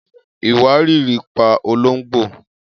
Iwariiri pa ològbó.